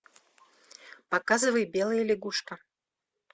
показывай белая лягушка